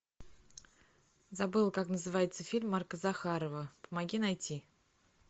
забыла как называется фильм марка захарова помоги найти